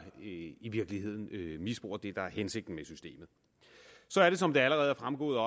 i virkeligheden misbruger det der er hensigten med systemet som det allerede er fremgået